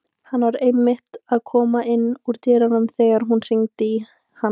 Hann var einmitt að koma inn úr dyrunum þegar þú hringdir hann